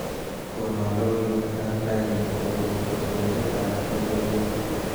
Kono logoiwekab raini kobun kotoindetab logoiwek